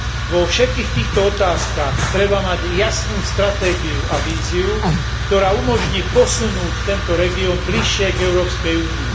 Vo všetkých týchto otázkach treba mať jasnú stratégiu a víziu, ktorá umožní posunúť tento región bližšie k Európskej únii.